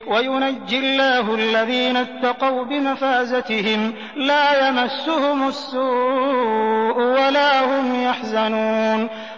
وَيُنَجِّي اللَّهُ الَّذِينَ اتَّقَوْا بِمَفَازَتِهِمْ لَا يَمَسُّهُمُ السُّوءُ وَلَا هُمْ يَحْزَنُونَ